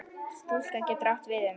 Stúka getur átt við um